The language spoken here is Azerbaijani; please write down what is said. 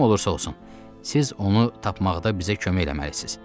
Kim olursa olsun, siz onu tapmaqda bizə kömək eləməlisiz.